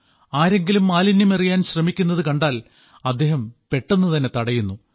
ആരെങ്കിലും മാലിന്യമെറിയാൻ ശ്രമിക്കുന്നത് കണ്ടാൽ അദ്ദേഹം പെട്ടെന്നു തന്നെ തടയുന്നു